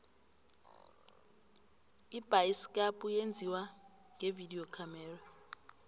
ibayisikapu yenziwa ngevidiyo khamera